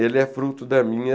Ele é fruto da minha...